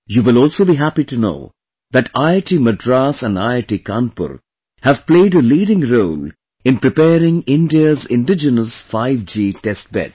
You will also be happy to know that IIT Madras and IIT Kanpur have played a leading role in preparing India's indigenous 5G testbed